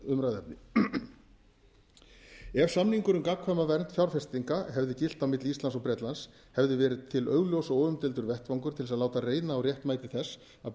umræðuefni ef samningur um gagnkvæma vernd fjárfestinga hefði gilt á milli íslands og bretlands hefði verið til augljós og óumdeildur vettvangur til að láta reyna á réttmæti þess að